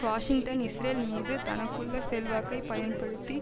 Washington Israel மீது தனக்குள்ள செல்வாக்கை பயன்படுத்தி